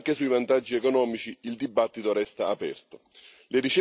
Tuttavia, anche sui vantaggi economici, il dibattito resta aperto.